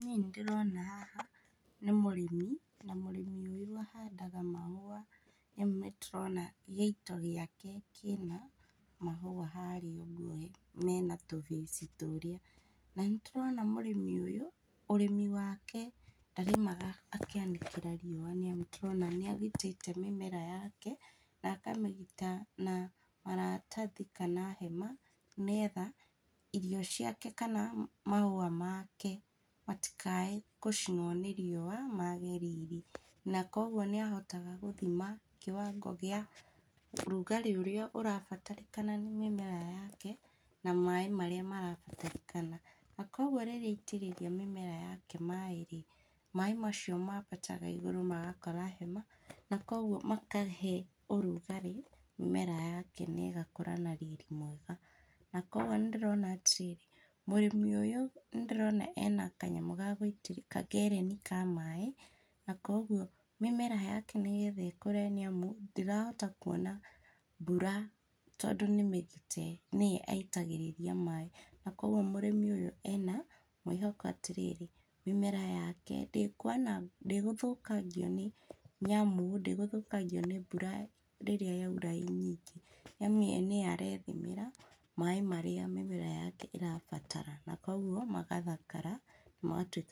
Niĩ nĩndĩrona haha nĩ mũrĩmi, na mũrĩmi ũyũ ahandaga mahũa, rĩu nĩtũrona gĩito gĩake kĩna mahũa harĩa ũguo ge mena tũbĩci tũrĩa, na nĩtũrona mũrĩmi ũyũ, ũrĩmi wake, ndarĩmaga akĩanĩkĩra riũa, nĩtũrona nĩagitĩte mĩmera yake, nakamĩgita na maratathi kana hema, nĩgetha irio ciake kana mahũa make matikae gũcinwo nĩ riũa mage riri, na koguo nĩahotaga gũthima kĩwango kĩa ũrugarĩ ũrĩa ũrabatarĩkana nĩ mĩmera yake, na maĩ marĩa marabatarĩkana, na koguo rĩrĩa aitĩrĩria mĩmera yake maĩ rĩ, maĩ macio mambataga igũrũ magakora hema, na koguo matahe ũrugarĩ, mĩmera yake nĩgakũra na riri mwega, na koguo ndĩrona atĩrĩrĩ, mũrĩmi ũyũ nĩndĩrona ena kanyamu gagũi ka ngereni ka maĩ, na koguo mĩmera yake nĩgetha ĩkũre níamu, ndĩrahota kuona mbura tondũ nĩmĩgite nĩye aitagĩrĩria maĩ, koguo mũrĩmi ũyũ ena mwĩhoko atĩrĩrĩ, mĩmera yake ndĩkwanangwo ndĩgũthũkangio nĩ, nĩamu ndĩgũthũkangio nĩ mbura rírĩa yaura ĩ nyingĩ, nĩamu ye nĩye arethimĩra maĩ marĩa mĩmera yake ĩrabatara, na koguo magathakara, magatwĩka.